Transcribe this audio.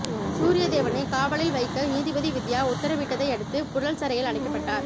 சூரியதேவனை காவலில் வைக்க நீதிபதி வித்யா உத்தரவிட்டதையடுத்து புழல் சிறையில் அடைக்கப்பட்டார்